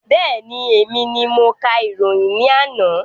Bẹ́ẹ̀ni, èmi ni mo ka ìròyìn ní àná